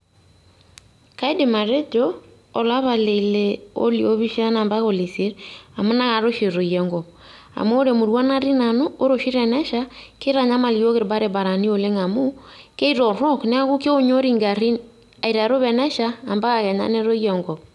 Kaidim atejo, olapa leile oliopishana mpaka olieiset, amu nakata oshi etoyio enkop. Amu ore emurua natii nanu, ore oshi tenesha, kitanyamal iyiook irbarabarani oleng' amu, kitorrok neeku kionyori garrin, aiteru tenesha ampaka kenya netoyu enkop.